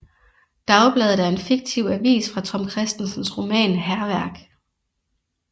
Dagbladet er en fiktiv avis fra Tom Kristensens roman Hærværk